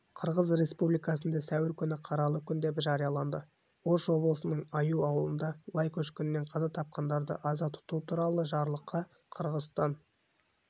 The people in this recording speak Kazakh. қырғыз республикасында сәуір күні қаралы күн деп жарияланды ош облысының аюу ауылында лай көшкінінен қаза тапқандарды аза тұту туралы жарлыққа қырғызстан